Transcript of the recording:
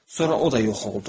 Sonra o da yox oldu.